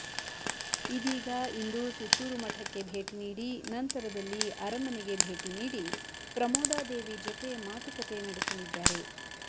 ಇದೀಗ ಇಂದು ಸುತ್ತೂರು ಮಠಕ್ಕೆ ಭೇಟಿ ನೀಡಿ ನಂತರದಲ್ಲಿ ಅರಮನೆಗೆ ಭೇಟಿ ನೀಡಿ ಪ್ರಮೋದಾದೇವಿ ಜೊತೆ ಮಾತುಕತೆ ನಡೆಸಲಿದ್ದಾರೆ